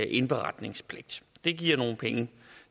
indberetningspligt det giver nogle penge